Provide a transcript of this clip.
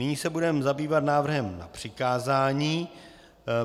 Nyní se budeme zabývat návrhem na přikázání.